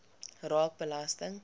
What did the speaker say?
raak belasting